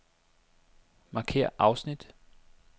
Markér afsnit.